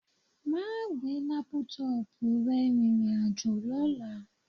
Máà gbé lápútọọ̀pù rẹ rìnrìn àjò lọ́la